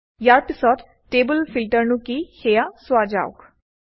ইয়াৰ পিছত টেবুল ফিল্টাৰনো কি সেয়া চোৱা যাওক